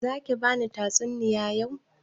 Za ki bani tatsuniya yau?